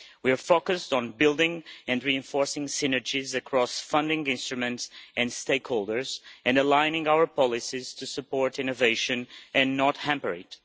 We are focused on building and reinforcing synergies across funding instruments and stakeholders, and on aligning our policies to support innovation and not hamper it.